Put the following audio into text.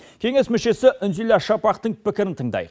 кеңес мүшесі үнзила шапақтың пікірін тыңдайық